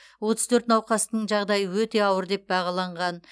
отыз төрт науқастың жағдайы өте ауыр деп бағаланған